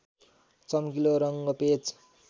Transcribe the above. चमकीलो रङ्ग पेच